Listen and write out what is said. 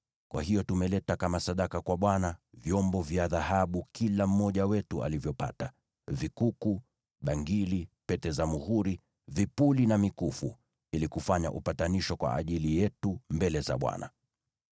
Kwa hiyo tumeleta kama sadaka kwa Bwana vyombo vya dhahabu kila mmoja wetu alivyopata, yaani vikuku, bangili, pete za muhuri, vipuli na mikufu, ili kufanya upatanisho kwa ajili yetu mbele za Bwana .”